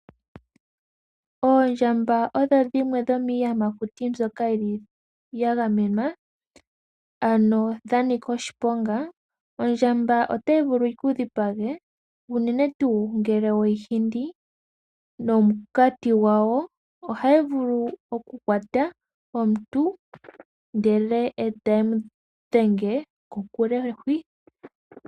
Oondjamba oodho dhimwe dhomiiyamakuti mbyoka ya gamenwa, ano dha nika oshiponga. Ondjamba otayi vulu yi ku dhipage unene tuu ngele we yi hindi. Omunkati gwawo ohagu vulu okukwata omuntu ndele e tayi mu ekelehi kokule hwi.